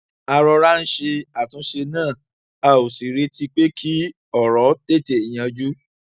a rọra ń ṣe àtúnṣe náà a ò sì retí pé kí òrò tètè yanjú